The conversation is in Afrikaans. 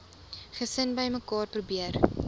gesin bymekaar probeer